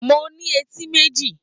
Mo ní etí méjì.